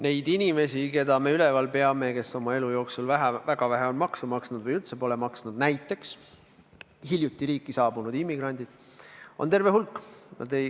Neid inimesi, keda me üleval peame ja kes oma elu jooksul väga vähe on makse maksnud või üldse pole maksnud, näiteks hiljuti riiki saabunud immigrandid, on terve hulk.